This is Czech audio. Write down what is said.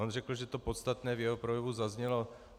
On řekl, že to podstatné v jeho projevu zaznělo.